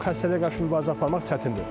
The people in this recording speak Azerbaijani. O xəstəliyə qarşı mübarizə aparmaq çətindir.